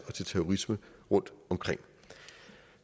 og terrorisme rundtomkring